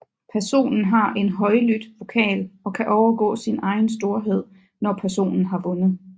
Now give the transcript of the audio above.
Personen har en højlydt vokal og kan overgå sin egen storhed når personen har vundet